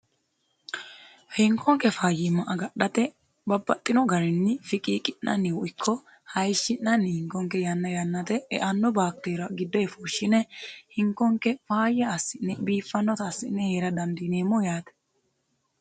hinkonke fayyimma agadhate babbaxxino garinni fiqiiqi'nanino iko hayishshi'nanni hinkonke yanna yannate eanno baakteeria giddo fushshine hinkonke faayya assi'ne biiffannota assi'ne heera dandineemmo yaate